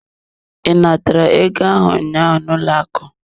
I natara ego ahụ ụnyaahụ n'ụlọ akụ?